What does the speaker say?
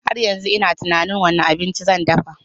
Har yanzu ina tunanin wane abinci zan dafa.